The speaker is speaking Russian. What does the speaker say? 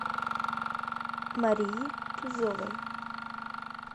марии тузовой